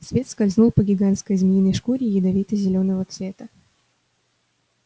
свет скользнул по гигантской змеиной шкуре ядовито-зелёного цвета